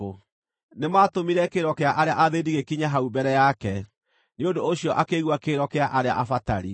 Nĩmatũmire kĩrĩro kĩa arĩa athĩĩni gĩkinye hau mbere yake, nĩ ũndũ ũcio akĩigua kĩrĩro kĩa arĩa abatari.